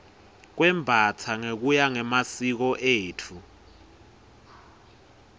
kwembastsa ngekuya ngemasiko etfu